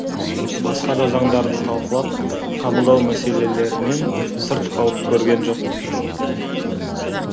басқа да заңдарды талқылап қабылдау мәселелерінен сырт қалып көрген жоқпын